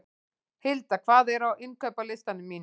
Hilda, hvað er á innkaupalistanum mínum?